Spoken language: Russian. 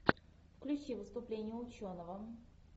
включи выступление ученого